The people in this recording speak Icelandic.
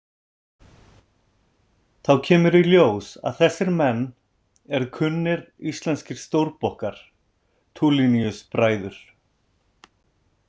Þá kemur í ljós að þessir menn eru kunnir íslenskir stórbokkar, Tuliniusbræður.